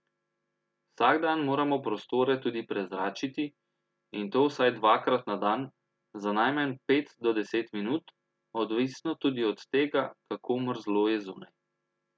Vsak dan moramo prostore tudi prezračiti, in to vsaj dvakrat na dan, za najmanj pet do deset minut, odvisno tudi od tega, kako mrzlo je zunaj.